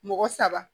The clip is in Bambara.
Mɔgɔ saba